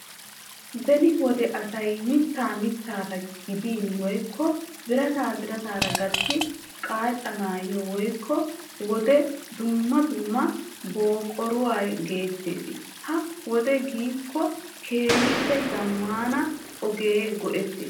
Beni wode asay mitta mittaara gidin woykko birata birataara gatti qachchanaw koyyiyo wode dumma dumma buqurata go"ettees. Ha"i wode gidiko keehippe zammana ogiya go"ettoosona.